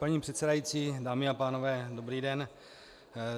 Paní předsedající, dámy a pánové, dobrý den.